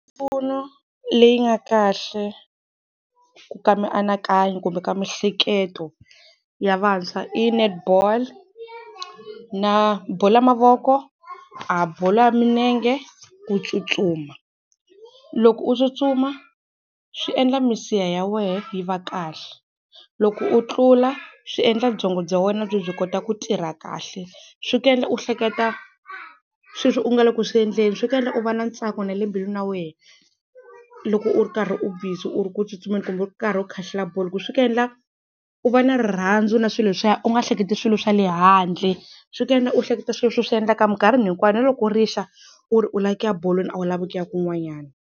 Mpfuno leyi nga kahle ku ka mianakanyo kumbe ka miehleketo ya vantshwa i netball na bolo ya mavoko, a bolo ya milenge, ku tsutsuma. Loko u tsutsuma swi endla misiha ya wehe yi va kahle, loko u tlula swi endla byongo bya wena byi kota ku tirha kahle, swi ku endla u hleketa sweswi u nga le ku swi endleni swi ku endla u va na ntsako na le mbilwini ya wena loko u ri karhi u busy u ri ku tsutsumeni kumbe u ri karhi u khahlela bolo hi ku swi ku endla u va na rirhandzu na swilo leswiya u nga hleketi swilo swa le handle swi ku endla u hleketa swilo leswi u swi endlaka minkarhi hinkwayo na loko rixa u ri u lava ku ya bolweni a wu lavi ku ya kun'wanyana.